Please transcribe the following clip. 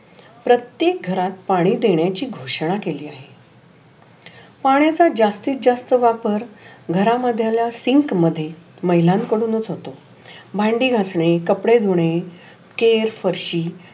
प्रत्येक घरात पाणी देण्याची घोषणा केली. पाण्याचा जास्तीत जास्त वापर घरा मध्याला सिंक मध्ये महिलां कडुनच होतो. भांडी घासने, कापडे धुणे, केस, फरशी